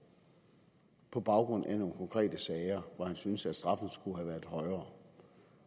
på baggrund af nogle konkrete sager hvor han synes at straffen skulle have været højere